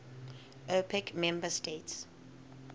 opec member states